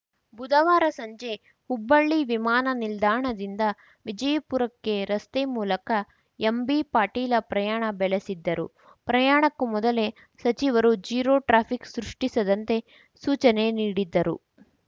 ಬುಧವಾರ ಸಂಜೆ ಹುಬ್ಬಳ್ಳಿ ವಿಮಾನ ನಿಲ್ದಾಣದಿಂದ ವಿಜಯಪುರಕ್ಕೆ ರಸ್ತೆ ಮೂಲಕ ಎಂಬಿಪಾಟೀಲ ಪ್ರಯಾಣ ಬೆಳೆಸಿದ್ದರು ಪ್ರಯಾಣಕ್ಕೂ ಮೊದಲೇ ಸಚಿವರು ಝೀರೋ ಟ್ರಾಫಿಕ್‌ ಸೃಷ್ಟಿಸದಂತೆ ಸೂಚನೆ ನೀಡಿದ್ದರು